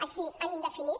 així en indefinit